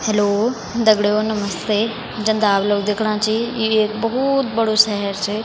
हेल्लो दगड़ियों नमस्ते जन त आप लोग दिखणा छी यु एक बहुत बड़ु शहर च।